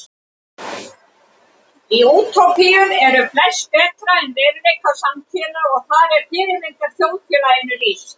Í útópíum eru flest betra en í veruleika samtíðarinnar og þar er fyrirmyndarþjóðfélaginu lýst.